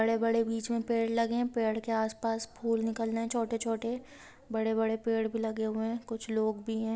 बड़े बड़े बीच में पेड़ लगे हैं पेड़ के आसपास फूल निकल रहे हैं छोटे छोटे बड़े बड़े पेड़ भी लगे हुए हैं कुछ लोग भी हैं।